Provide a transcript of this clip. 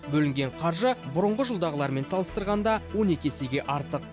бөлінген қаржы бұрынғы жылдағылармен салыстырғанда он екі есеге артық